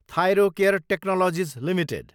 Thyrocare technologies Ltd